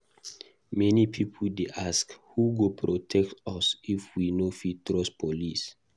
Many pipo dey ask: who go protect us if we no fit trust police?